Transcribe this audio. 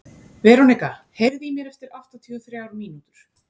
Veronika, heyrðu í mér eftir áttatíu og þrjár mínútur.